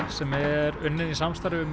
sem er unnin í samstarfi við